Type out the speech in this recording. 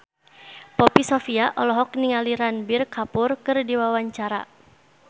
Poppy Sovia olohok ningali Ranbir Kapoor keur diwawancara